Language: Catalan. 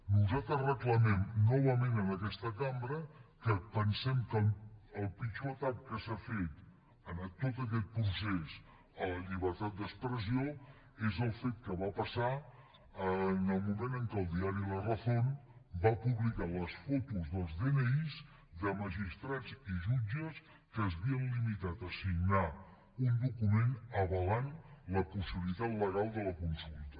nosaltres reclamem novament en aquesta cambra que pensem que el pitjor atac que s’ha fet en tot aquest procés a la llibertat d’expressió és el fet que va passar en el moment en què el diari la razónpublicar les fotos dels dni de magistrats i jutges que s’havien limitat a signar un document que avalava la possibilitat legal de la consulta